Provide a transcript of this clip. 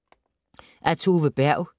Af Tove Berg